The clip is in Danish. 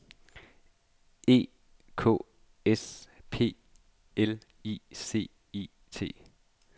E K S P L I C I T